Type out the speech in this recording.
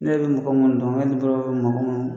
Ne bɛ mɔgɔ minnu dɔn mɔgɔ minnu ma